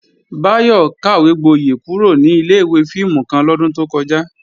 Báyọ̀ kàwégboyẹ̀ kúrò ní ilé-ìwé fíìmù kan lọ́dún tó kọjá